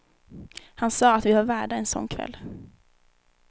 Han sa att vi var värda en sån kväll.